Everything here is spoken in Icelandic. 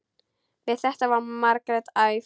Við þetta varð Margrét æf.